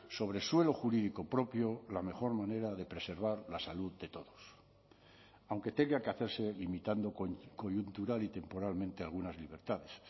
sobre suelo jurídico propio la mejor manera de preservar la salud de todos aunque tenga que hacerse limitando coyuntural y temporalmente algunas libertades